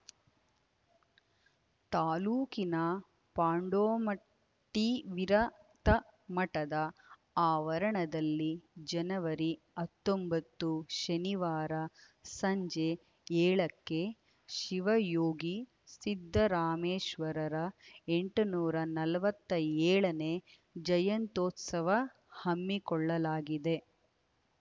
ತಾಲೂಕಿನ ಪಾಂಡೋಮಟ್ಟಿವಿರಕ್ತ ಮಠದ ಆವರಣದಲ್ಲಿ ಜನವರಿ ಹತ್ತೊಂಬತ್ತು ಶನಿವಾರ ಸಂಜೆ ಏಳಕ್ಕೆ ಶಿವಯೋಗಿ ಸಿದ್ದರಾಮೇಶ್ವರರ ಎಂಟುನೂರ ನಲವತ್ಯೋಳನೇ ಜಯಂತ್ಯುತ್ಸವ ಹಮ್ಮಿಕೊಳ್ಳಲಾಗಿದೆ